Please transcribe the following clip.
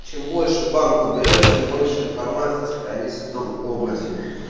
чем больше банку даёшь тем больше информации сохранится в том образе